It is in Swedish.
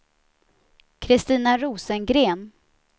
Christina Rosengren